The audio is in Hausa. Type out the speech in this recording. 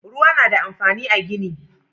Ruwa na da amfani a gini